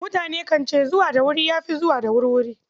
Mutane kan ce, zuwa da wuri ya fi zuwa da wurwuri.